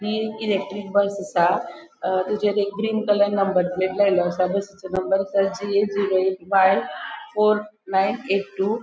हि एक electric bus असा ताचेर एक ग्रीन कलर नंबर प्लेट लायल्लो असा बसचे नंबर असा G A zero eight five four nine eight two .